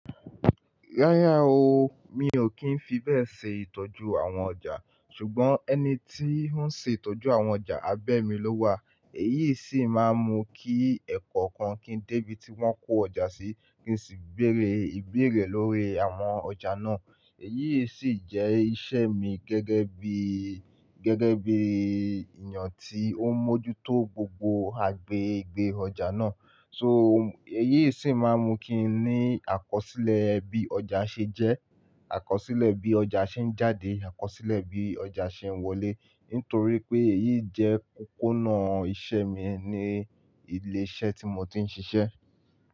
Rárá o, mi ò kí ń fi bẹ́ẹ̀ ṣe ìtọ́jú àwọn ọjà. Ṣùgbọ́n ẹni tí ó ń ṣe ìtọ́jú àwọn ọjà abẹ́ mi ló wà. Èyí sì máa ń mú kí ẹ̀kọ́okan kí ń dé ibi tí wón kó ọjà sí, kí n sì béèrè ìbéèrè lórí àwọn ọjà náà. Èyí sì jẹ́ iṣẹ́ mi gẹ́gẹ́ bí, gẹ́gẹ́ bí eeyàn tí ó ń mójútó gbogbo agbègbè ọjà náà. So, èyí sì máa ń mú kí n ní àkọsílẹ̀ bí ọjà ṣe jẹ́, àkọsílẹ̀ bí ọjà ṣe ń jáde, àkọsílẹ̀ bí ọjà ṣe ń wọlé. Nítorí pé èyí jẹ́ kókó nà iṣẹ́ mi ní ilé iṣẹ́ tí mo ti ń ṣiṣẹ́.